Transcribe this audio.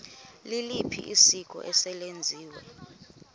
liliphi isiko eselenziwe